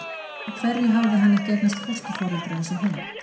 Út af hverju hafði hann ekki eignast fósturforeldra eins og hún?